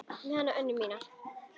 Þetta með hana Önnu mína.